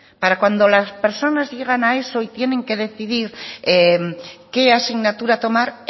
para cuando las personas llegan a eso y tienen que decidir qué asignatura tomar